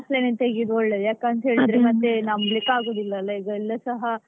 Offline ತೆಗಿಯೋದು ಒಳ್ಳೇದು ಯಾಕಂತೇಳಿದ್ರೆ ಮತ್ತೆ ನಂಬಲಿಕ್ಕೇಆಗೋದಿಲ್ಲ್ಲಲ ಈಗ ಎಲ್ಲಸಹ.